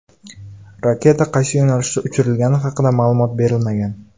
Raketa qaysi yo‘nalishda uchirilgani haqida ma’lumot berilmagan.